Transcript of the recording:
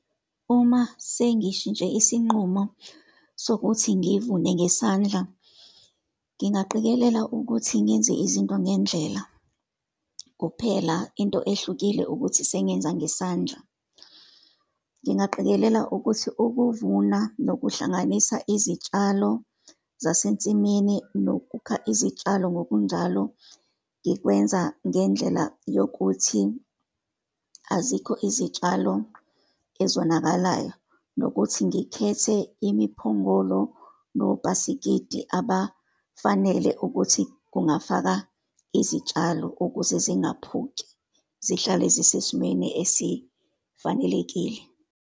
Uma sengishintshe isinqumo sokuthi ngivune ngesandla, ngingaqikelela ukuthi ngenze izinto ngendlela, kuphela into ehlukile ukuthi sengenza ngesandla. Ngingaqikelela ukuthi ukuvuna nokuhlanganisa izitshalo zasensimini, nokukha izitshalo ngokunjalo ngikwenza ngendlela yokuthi, azikho izitshalo ezonakalayo, nokuthi ngikhethe imiphongolo nobhasikidi abafanele ukuthi kungafaka izitshalo, ukuze zingaphuki, zihlale zisesimweni esifanelekile.